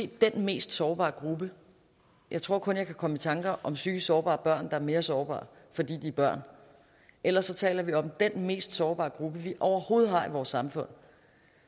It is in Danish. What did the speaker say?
den mest sårbare gruppe jeg tror kun jeg kan komme i tanker om psykisk sårbare børn der er mere sårbare fordi de er børn ellers taler vi om at den mest sårbare gruppe vi overhovedet har i vores samfund